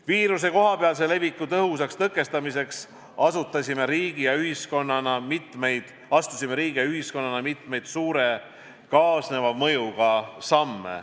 Viiruse kohapealse leviku tõhusaks tõkestamiseks astusime riigi ja ühiskonnana mitmeid suure kaasneva mõjuga samme.